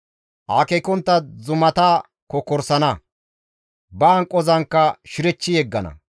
Akeekontta zumata kokkorsana; ba hanqozankka shirechchi yeggana.